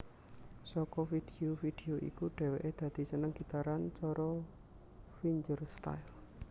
Saka vidio vidio iku dhèwèké dadi seneng gitaran cara fingerstyle